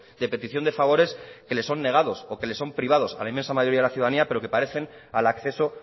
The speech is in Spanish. de petición de favores que le son negados o que le son privado a la inmensa mayoría de la ciudadanía pero que parecen al acceso